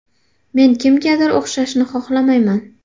Men kimgadir o‘xshashni xohlamayman.